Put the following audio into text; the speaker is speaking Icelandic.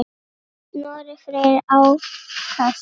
Snorri Freyr Ákason.